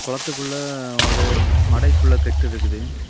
குளத்துக்குள்ள ஒரு மடைக்குள்ள கட்டுருக்குது.